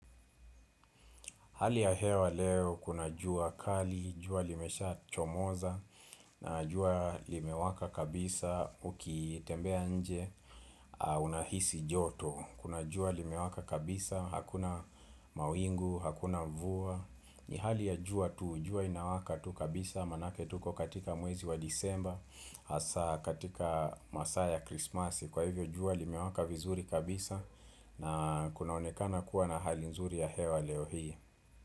Hali ya hewa leo kuna jua kali, jua limesha chomoza, na jua limewaka kabisa ukitembea nje unahisi joto. Kuna jua limewaka kabisa, hakuna mawingu, hakuna mvua. Ni hali ya jua tu, jua inawaka tu kabisa, maanake tuko katika mwezi wa disemba, hasa katika masaa ya krismasi. Kwa hivyo jua limewaka vizuri kabisa na kunaonekana kuwa na hali nzuri ya hewa leo hii.